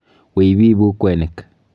Wiy biibu kwenik.